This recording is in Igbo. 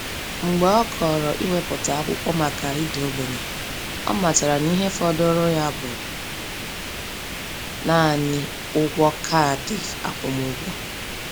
Mgbe ọ kọrọ iwepụta akwụkwọ maka ịda ogbenye, ọ matara na ihe fọdụrụ ya bụ naanị ụgwọ kaadị akwụmụgwọ.